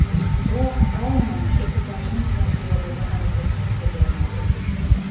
Biroq Aunon ekipajning zaxiradagi a’zosi hisoblanar edi.